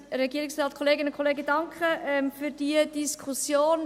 Ich bedanke mich für diese Diskussion.